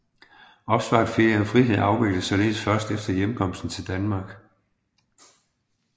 Opsparet ferie og frihed afvikles således først efter hjemkomst til Danmark